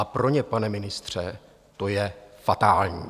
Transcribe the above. A pro ně, pane ministře, to je fatální.